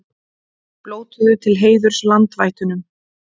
Blótuðu til heiðurs landvættunum